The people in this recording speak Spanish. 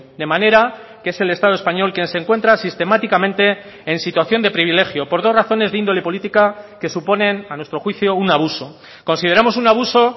de manera que es el estado español quien se encuentra sistemáticamente en situación de privilegio por dos razones de índole política que suponen a nuestro juicio un abuso consideramos un abuso